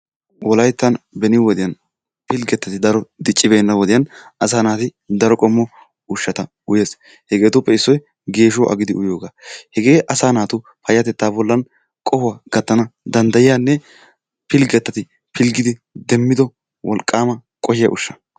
Wolayttan beni wodiyaani pilggetati daro dicci beena wodiyaan asaa naati daro qommo ushshata uyees. Heggetuppe issoy geeshshuwa agidi uyiyoogaa. Hegee asaa naatu payatetaa bollan qohuwa gattana danddayiyanne pilgettati pilggidi demmido wolqqaama qohiya ushsha.